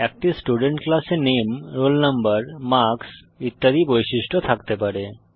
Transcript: একটি স্টুডেন্ট ক্লাসে নামে রোল নাম্বার মার্কস ইত্যাদি বৈশিষ্ট্য থাকতে পারে